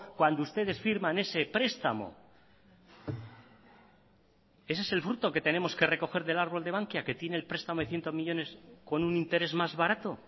cuando ustedes firman ese prestamo ese es el fruto que tenemos que recoger del árbol de bankia que tiene el prestamo de cientos millónes con un interés más barato